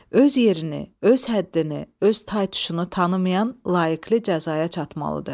Öz yerini, öz həddini, öz tay-tuşunu tanımayan layiqliyə cəzaya çatmalıdır.